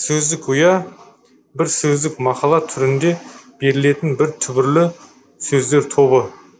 сөздік ұя бір сөздік мақала түрінде берілетін бір түбірлі сөздер тобы